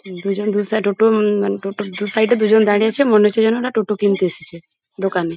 দুজন দু সাইড টোটো উম টোটোর দু সাইড -এ দুজন দাঁড়িয়ে আছে মনে হচ্ছে যেন ওরা টোটো কিনতে এসেছে দোকানে।